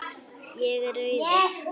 Er ég rauður?